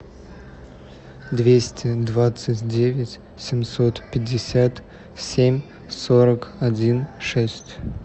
двести двадцать девять семьсот пятьдесят семь сорок один шесть